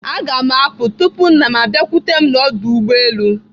Aga m apụ tupu nna m abiakwute m n'ọdụ ụgbọelu.